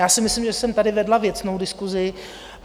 Já si myslím, že jsem tady vedla věcnou diskusi.